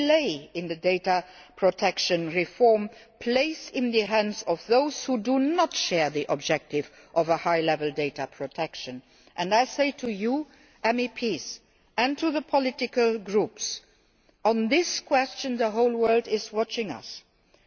Any delay in the data protection reform plays into the hands of those who do not share the objective of a high level of data protection. And I say to you, MEPs, and to the political groups that the whole world is watching us on this matter.